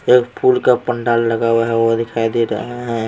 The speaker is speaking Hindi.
एक फूल का पंडाल लगा हुआ है वो दिखाई दे रहा है।